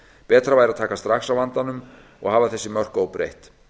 betra væri að taka strax á vandanum og hafa þessi mörk óbreytt